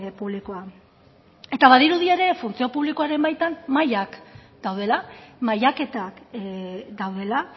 publikoak badirudi ere funtzio publikoaren baitan mailak daudela mailaketak daudela